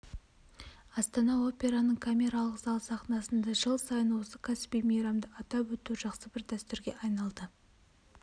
астана операның камералық залы сахнасында жыл сайын осы кәсіби мейрамды атап өту жақсы бір дәстүрге айналды